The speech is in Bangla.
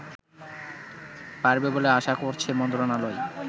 পারবে বলে আশা করছে মন্ত্রনালয়